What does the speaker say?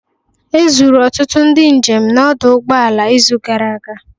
Ezuru ọtụtụ ndị njem n'ọdụ ụgbọ ala izu gara aga